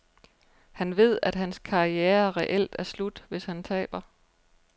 Han ved, at hans karriere reelt er slut, hvis han taber.